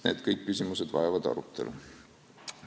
Kõik need küsimused vajavad arutelu.